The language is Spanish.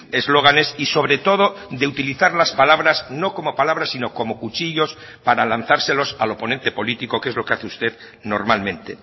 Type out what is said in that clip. eslóganes y sobre todo de utilizar las palabras no como palabras sino como cuchillos para lanzárselos al oponente político que es lo que hace usted normalmente